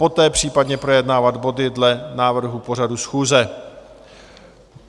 Poté případně projednávat body dle návrhu pořadu schůze.